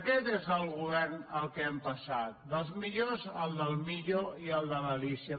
aquest és al govern a què hem passat del dels millors al del millo i al de l’alícia